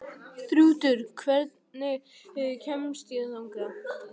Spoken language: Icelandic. Þrútur, hvernig kemst ég þangað?